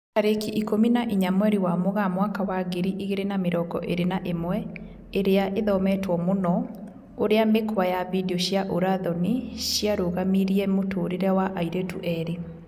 Tarĩki ikũmi na inya mweri wa Mũgaa mwaka wa ngiri igĩri na mĩrongo ĩri na ĩmwe, ĩria ĩthometwo mũno: ũrĩa mĩkwa ya video cia ũra thoni ciarũgamirie mũtũrĩre wa airĩtu erĩ